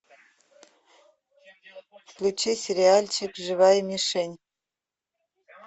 включи сериальчик живая мишень